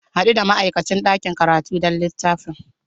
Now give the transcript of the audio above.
Haɗu da ma'aikacin ɗakin karatu don littafin.